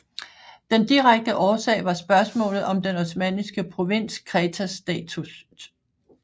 Den direkte årsag var spørgsmålet om den Osmanniske provins Kretas status